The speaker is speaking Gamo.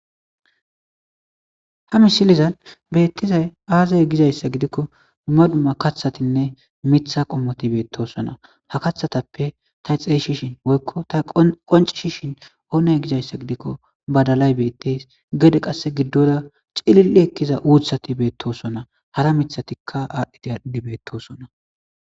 Ha missilezan bettizay aaze gizayssa giidikko dumms dumma kaththatinne miththa qommoti bettosona ha kaththatsppe tay xeyssishin woykko ta qonccisishin oone gidayssa gidiko baddalay bettes gede qasse giddora cillili ekkiza uuththati bettosona haara miththatika adhdhidi adhdhidi betossona.